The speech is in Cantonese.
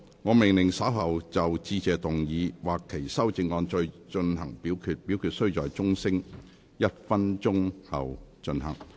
我命令若稍後就"致謝議案"所提出的議案或修正案再進行點名表決，表決須在鐘聲響起1分鐘後進行。